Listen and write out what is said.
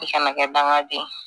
I kana kɛ dangaden ye